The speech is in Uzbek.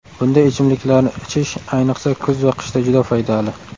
Bunday ichimliklarni ichish ayniqsa kuz va qishda juda foydali.